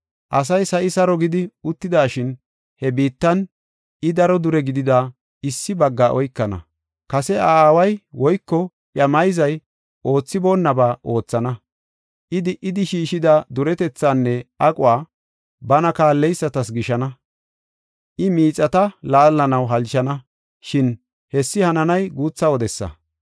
Asay sa7i saro gidi uttidashin, he biittan I, daro dure gidida issi baggaa oykana. Kase iya aaway woyko iya mayzay oothiboonnaba oothana; I di77idi shiishida duretethaanne aquwa bana kaalleysatas gishana. I miixata laallanaw halchana; shin hessi hananay guutha wodesa.